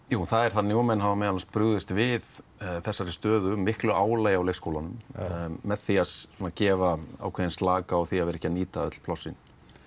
jú það er þannig og menn hafa meðal annars brugðist við þessari stöðu mikla álagi á leikskólunum með því að gefa ákveðinn slaka á því að vera ekki að nýta öll plássin